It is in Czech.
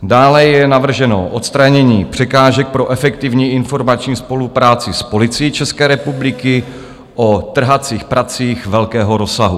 Dále je navrženo odstranění překážek pro efektivní informační spolupráci s Policií České republiky o trhacích pracích velkého rozsahu.